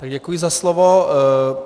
Tak děkuji za slovo.